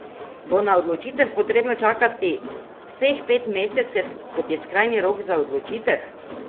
Bo na odločitev potrebno čakati vseh pet mesecev, kot je skrajni rok za odločitev?